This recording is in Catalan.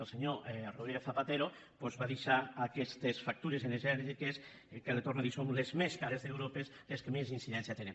el senyor rodríguez zapatero doncs va deixar aquestes factures energètiques que li ho torno a dir són les més cares d’europa les que més incidència tenen